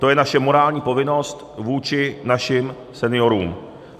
To je naše morální povinnost vůči našim seniorům.